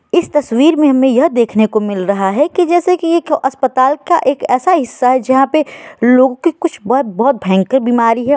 इस तस्वीर में हमें यह देखने को मिल रहा है की जैसे की एक अस्पताल का एक एैसा हिस्सा है जहाँ पे लोग के कुछ बहुत-बहुत भयंकर बीमारी है।